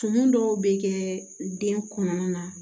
Tumu dɔw bɛ kɛ den kɔnɔna na